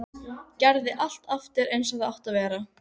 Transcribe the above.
Gerði allt aftur eins og það átti að vera.